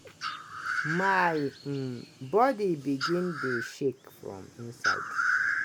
"my um body begin dey shake from inside.